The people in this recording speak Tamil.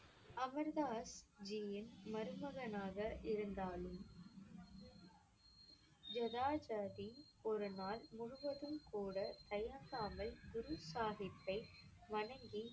அமர் தாஸ் ஜியின் மருமகனாக இருந்தாலும் ஜேதா ஜி ஒரு நாள் முழுவதும் கூடத் தயங்காமல் குரு சாஹிப்தை வணங்கிக்